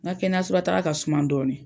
Nka kɛnɛyaso la taaga ka suman dɔɔni.